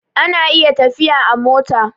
ana iya tafiya a mota